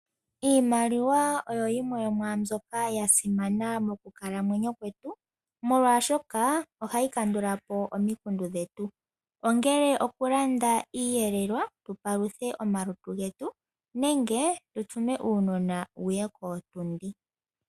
Iimaliwa oyo yimwe yo mwaa mbyoka ya simana mokukalamwenyo kwetu, molwaashoka ohayi kandula po omikundu dhetu ongele okulanda iiyelelwa tu paluthe omalutu getu nenge tu tume uunona wu ye kootundi.